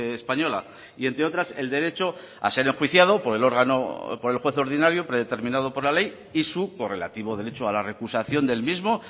española y entre otras el derecho a ser enjuiciado por el órgano por el juez ordinario predeterminado por la ley y su correlativo derecho a la recusación del mismo